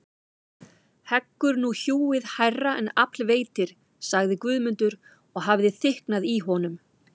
Heggur nú hjúið hærra en afl veitir, sagði Guðmundur og hafði þykknað í honum.